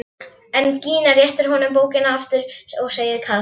En Gína réttir honum bókina aftur og segir kalt